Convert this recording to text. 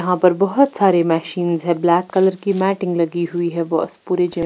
यहाँ पर बहुत सारी मशीन्स है ब्लैक कलर की मैटिंग लगी हुई है बस पूरी चेयर--